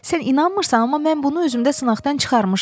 Sən inanmırsan, amma mən bunu özümdə sınaqdan çıxarmışam.